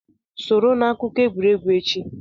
Soro na akụkọ egwuregwu echi!